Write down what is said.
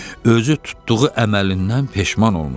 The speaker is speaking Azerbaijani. Özü tutduğu əməlindən peşman olmuşdu.